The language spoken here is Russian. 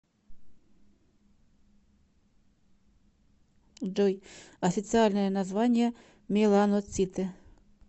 джой официальное название меланоциты